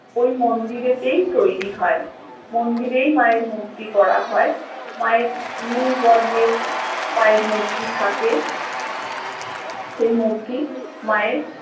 ওই মন্দিরেতে তৈরী হয় মন্দিরেই মা এর মূর্তি করা হয় মা এর নীল বর্ণের মায়ের মূর্তি থাকে সেই মূর্তি মায়ের